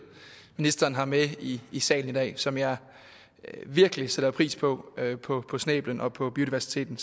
ministeren har med i i salen i dag som jeg virkelig sætter pris på på snæblens og på biodiversiteten